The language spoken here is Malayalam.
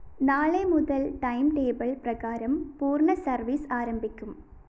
നാളെ മുതല്‍ ടൈംടേബിൾ പ്രകാരം പൂര്‍ണ സര്‍വീസ് ആരംഭിക്കും